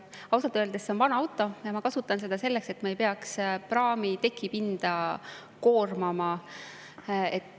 Ausalt öeldes see on vana auto ja ma kasutan seda selleks, et ma ei peaks praami tekipinda koormama.